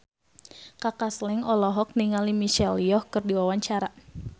Kaka Slank olohok ningali Michelle Yeoh keur diwawancara